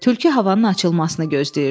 Tülkü havanın açılmasını gözləyirdi.